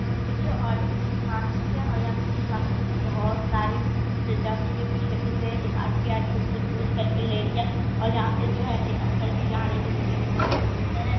यहां पे जो और एक फिश मार्केट है और यहाँ फिश मार्केट में बहुत सारे प्रजाति के फीस रखे गए हैं। एक आंटी आ के उसको उनको चूस करके ले रही है और यहां से जो है एक अंकल भी जा रहे हैं जो दिखने में बहुत ज्यादा सुंदर है।